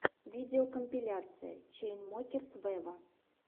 видеокомпиляция чайнсмокерс вево